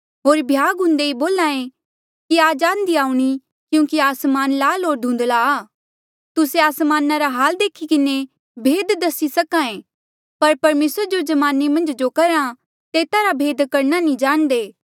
होर भ्याग हुंदे बोल्हा ऐें कि आज आंधी आऊणीं क्यूंकि आसमान लाल होर धुंधला आ तुस्से आसमाना रा हाल देखी किन्हें भेद दसी सक्हा ऐें पर परमेसर जो जमाने मन्झ जो करहा तेता रा भेद करणा कि नी जाणदे